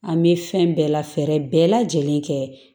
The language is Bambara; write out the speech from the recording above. An bɛ fɛn bɛɛ la fɛɛrɛ bɛɛ lajɛlen kɛ